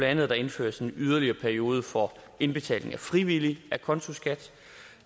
andet at der indføres en yderligere periode for indbetaling af frivillig acontoskat